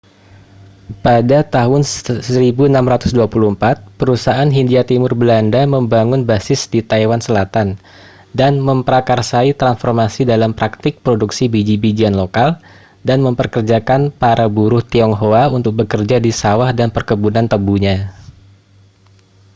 pada tahun 1624 perusahaan hindia timur belanda membangun basis di taiwan selatan dan memprakarsai transformasi dalam praktik produksi biji-bijian lokal dan mempekerjakan para buruh tionghoa untuk bekerja di sawah dan perkebunan tebunya